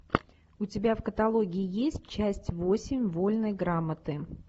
у тебя в каталоге есть часть восемь вольной грамоты